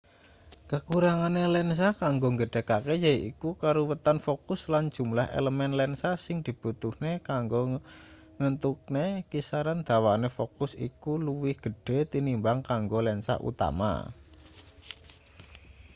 kakurangane lensa kanggo nggedhekake yaiku karuwetan fokus lan jumlah elemen lensa sing dibutuhne kanggo ngentukne kisaran dawane fokus iku luwih gedhe tinimbang kanggo lensa utama